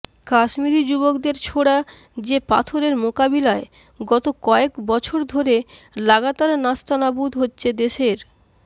কাশ্মীরি যুবকদের ছোড়া যে পাথরের মোকাবিলায় গত কয়েক বছর ধরে লাগাতার নাস্তানাবুদ হচ্ছে দেশের